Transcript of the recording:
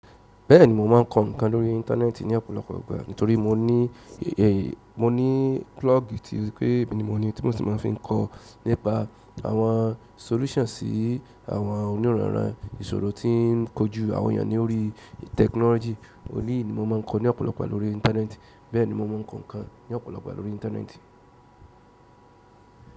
Bẹ́ẹ̀ni, mo máà ń kọ ǹkan lórí íńtánẹ́ẹ̀tì ní ọ̀pọ̀lọpọ̀ ìgbà. Nítorí mo ní, mo ní blog tí o sepé emi ni mo ni tí mo sì máa fi ń kọ nípa àwọn solutions sí àwọn oníranran ìṣòro tí ń kojú àwọn èèyàn ní orí technology. Eleyi ni mo maa ko ni ọ̀pọ̀lọpọ̀ lórí intaneti, bẹ́ẹ̀ni mo maa n ko nkan ni ọ̀pọ̀lọpọ̀ lórí intaneti.